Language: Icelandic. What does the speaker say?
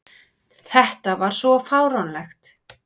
Þetta var svo fáránlegt!